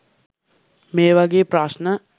මේවගේ ප්‍රශ්න